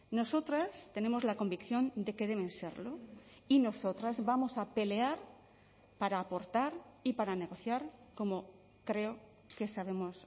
nosotras tenemos la convicción de que deben serlo y nosotras vamos a pelear para aportar y para negociar como creo que sabemos